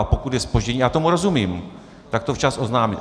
A pokud je zpoždění - já tomu rozumím - tak to včas oznámit.